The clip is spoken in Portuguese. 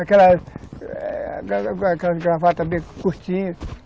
Aquela gravata bem curtinha.